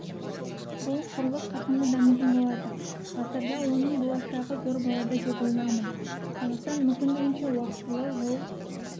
бұл құрлық қарқынды дамитын болады ғасырда оның болашағы зор болады деп ойлаймын қазақстан мүмкіндігінше уақтылы жол